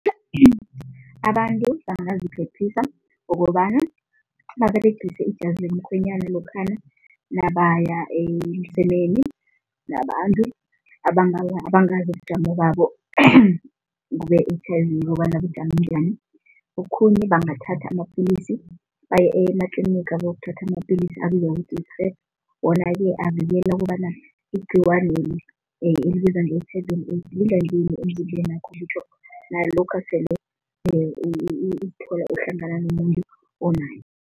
Abantu bangaziphephisa ngokobanyana baberegise ijazi lomkhwenyana lokhana nabaya emsemeni nabantu abangazi ubujamo babo be-H_I_V ukobana bujame njani, Okhunye bangathatha amapilisi, baye ematliniga bayokuthatha amapilisi abizwa ngokuthi yi-prep, wona-ke avikela ukobana igcikwaneli elibizwa lingadluli emzimbenakho ngitjho nalokha sele uzithola ohlangana nomuntu onayo.